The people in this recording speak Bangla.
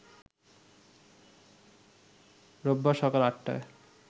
রোববার সকাল আটটায়